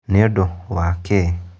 Nĩũndũ wa kĩĩ?